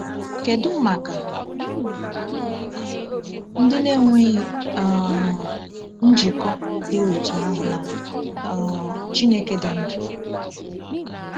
Kedu maka ndị na-enweghị um njikọ dị otú ahụ na um Chineke dị ndụ?